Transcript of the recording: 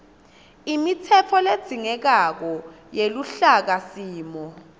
imitsetfo ledzingekako yeluhlakasimo